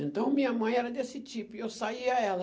Então, minha mãe era desse tipo, e eu saía ela.